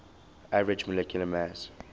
average molecular mass